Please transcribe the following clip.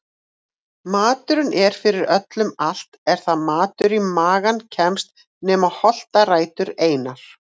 Maturinn er fyrir öllu allt er það matur í magann kemst nema holtarætur einar.